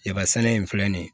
Yaba sɛnɛ in filɛ nin ye